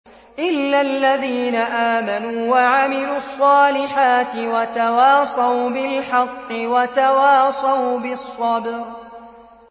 إِلَّا الَّذِينَ آمَنُوا وَعَمِلُوا الصَّالِحَاتِ وَتَوَاصَوْا بِالْحَقِّ وَتَوَاصَوْا بِالصَّبْرِ